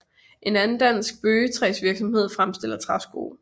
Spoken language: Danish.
En anden dansk bøgetræsvirksomhed fremstiller træsko